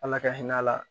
Ala ka hinɛ a la